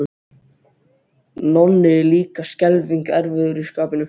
Nonni er líka skelfing erfiður í skapinu.